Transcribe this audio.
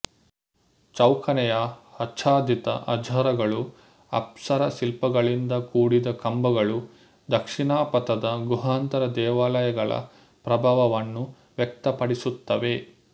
ಚೌಕನೆಯ ಆಚ್ಛಾದಿತ ಹಜಾರಗಳು ಅಪ್ಸರಶಿಲ್ಪಗಳಿಂದ ಕೂಡಿದ ಕಂಬಗಳು ದಕ್ಷಿಣಾಪಥದ ಗುಹಾಂತರ ದೇವಾಲಯಗಳ ಪ್ರಭಾವವನ್ನು ವ್ಯಕ್ತಪಡಿಸುತ್ತವೆ